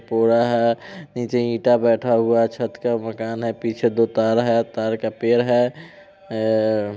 पूरा है नीचे ईंटा बैठा हुआ है छत का मकान है पीछे दो तार है तार का पेड़ है ए --